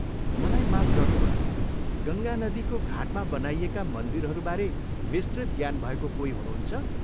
मलाई माफ गर्नुहोला, गङ्गा नदीको घाटमा बनाइएका मन्दिरहरूबारे विस्तृत ज्ञान भएको कोही हुनुहुन्छ?